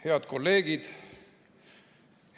Head kolleegid!